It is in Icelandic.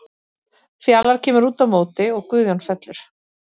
Fjalar kemur út á móti og Guðjón fellur.